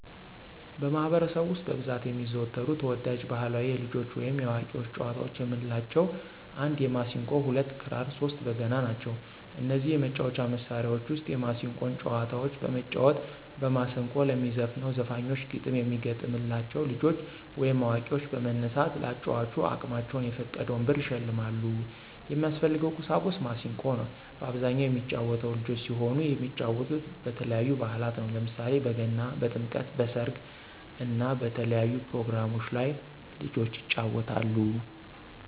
በማህበረሰቡ ውስጥ በብዛት የሚዘወተሩ ተወዳጅ ባህላዊ የልጆች ወይም የአዋቂዎች ጨዋታዎች የምንላቸው 1 የማሲንቆ 2 ክራር 3 በገና ናቸው። ከነዚህ የመጫወቻ መሣሪያዎች ውስጥ የማሲንቆን ጨዋታዎች በመጫወት በማስንቆ ለሚዘፍነው ዘፋኞች ግጥም የሚገጠምላ ልጆች ወይም አዋቂዎች በመነሳት ለአጫዋቹ አቅማቸውን የፈቀደውን ብር ይሸልማሉ። የሚያስፈልገው ቁሳቁስ ማሲንቆ ነው። በአብዛኛው የሚጫወተው ልጆች ሲሆኑ የሚጫወቱት በተለያዩ በአላት ነው። ለምሳሌ በገና፣ በጥምቀት፣ በሰርግ እና በተለያዩ ፕሮግራሞች ላይ ልጆች ይጫወታሉ።